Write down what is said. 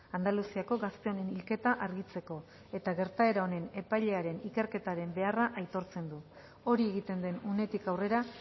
andaluziako gazteen hilketa argitzeko eta gertaera honen epailearen ikerketaren beharra aitortzen du hori egiten den unetik aurrera